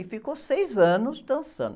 E ficou seis anos dançando.